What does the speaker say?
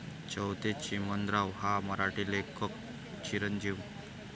चौथे चिमणराव हा मराठी लेखक चिं।